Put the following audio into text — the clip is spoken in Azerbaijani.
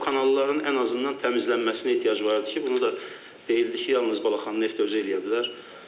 Kanalların ən azından təmizlənməsinə ehtiyac var idi ki, bunu da deyildi ki, yalnız Balaxanı Neft özü eləyə bilər.